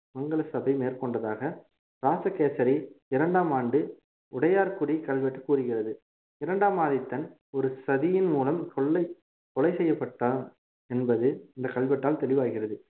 மங்கள சபை மேற்கொண்டதாக ராசகேசரி இரண்டாம் ஆண்டு உடையார்குடி கல்வெட்டு கூறுகிறது இரண்டாம் ஆதித்தன் ஒரு சதியின் மூலம் கொள்ளை கொலை செய்யப்பட்டான் என்பது இந்த கல்வெட்டால் தெளிவாகிறது